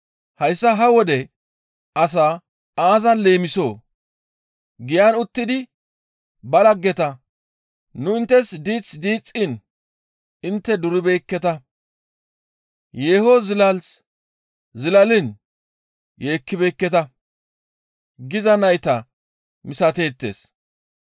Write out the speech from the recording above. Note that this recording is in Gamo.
«Hayssa ha wode asaa aazan leemisoo? Giyan uttidi ba laggeta, ‹Nu inttes diith diixxiin intte duribeekketa! Yeeho zilas zilaliin yeekkibeekketa!› giza nayta misateettes.